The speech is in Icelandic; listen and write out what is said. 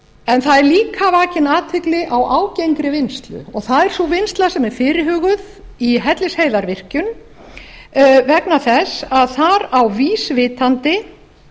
það er líka vakin athygli á ágengri vinnslu og það er sú vinnsla sem er fyrirhuguð í hellisheiðarvirkjun vegna þess að þar á vísvitandi